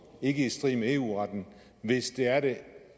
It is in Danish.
ikke i strid med eu retten hvis de er det